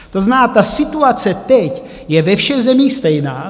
To znamená, ta situace teď je ve všech zemích stejná.